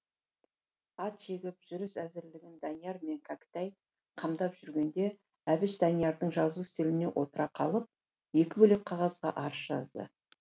ат жегіп жүріс әзірлігін данияр мен кәкітай қамдап жүргенде әбіш даниярдың жазу үстеліне отыра қалып екі бөлек қағазға арыз жазды